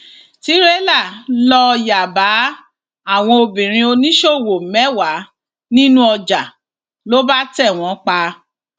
tìrẹlà lóò yá bá àwọn obìnrin oníṣòwò mẹwàá nínú ọjà ló bá tẹ wọn pa